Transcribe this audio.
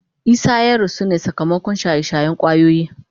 Isah ya rasu ne sakamakon shaye-shayen kwayoyi.